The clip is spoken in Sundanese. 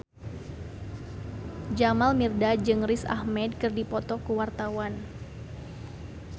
Jamal Mirdad jeung Riz Ahmed keur dipoto ku wartawan